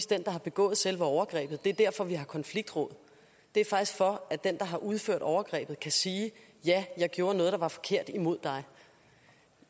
den der har begået selve overgrebet det er derfor vi har konfliktråd det er faktisk for at den der har udført overgrebet kan sige ja jeg gjorde noget der var forkert imod dig